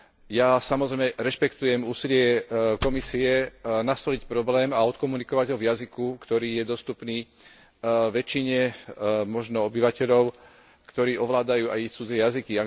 Ja samozrejme rešpektujem úsilie Komisie nastoliť problém a odkomunikovať ho v jazyku, ktorý je dostupný väčšine obyvateľov, ktorí ovládajú aj cudzie jazyky.